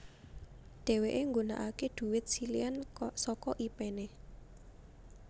Dhéwéké nggunakaké dhuwit siléhan saka ipéné